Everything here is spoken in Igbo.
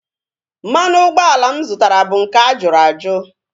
Mmanụ ụgbọala mụ zụtara bụ nke a jụrụ ajụ